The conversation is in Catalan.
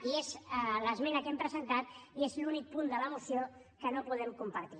i és l’esmena que hem presentat i és l’únic punt de la moció que no podem compartir